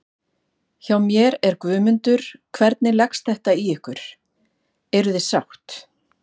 Hjá mér er Guðmundur, hvernig leggst þetta í ykkur, eruð þið sátt?